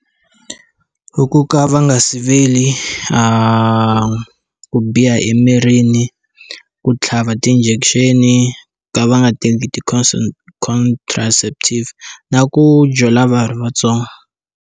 Ku ka va nga siveli ku biha emirini ku tlhaviwa ti-injection ku ka va nga teki ti-consult ti-consatratative na ku jola va ha ri vatsongo.